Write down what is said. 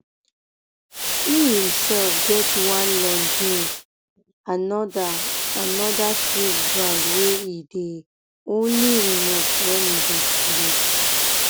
e imself get one longines another anoda swiss brand wey e um dey only remove wen e dey sleep